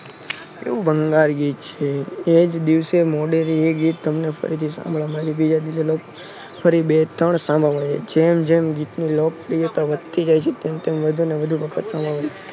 કેવું ભંગાર ગીત છે. એજ દિવસે મોડેથી એ ગીત ફરીથી સાંભળવા ફરી બે ત્રણ સાંભળવા મળે છે જેમ જેમ ગીતની લો કપ્રિયતા વધતી જાય છે. તેમ તેમ વધુ ને વધુ વખત સાંભળવા